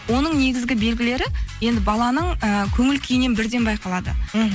оның негізгі белгілері енді баланың ііі көңіл күйінен бірден байқалады мхм